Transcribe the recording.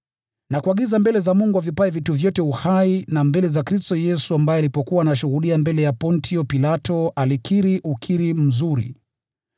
Nakuagiza mbele za Mungu avipaye vitu vyote uhai, na mbele za Kristo Yesu ambaye alipokuwa anashuhudia mbele ya Pontio Pilato alikiri ukiri mzuri,